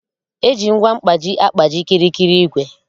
Eji ngwa mkpaji agkpaji kịrịkịrị igwè